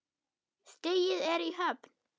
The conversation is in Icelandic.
Stigið er í höfn!